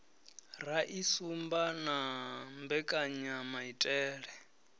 ra i sumba na mbekanyamaitele